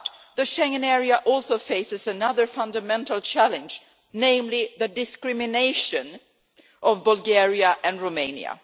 The Schengen area also faces another fundamental challenge, namely the discrimination against Bulgaria and Romania.